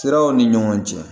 Siraw ni ɲɔgɔn cɛ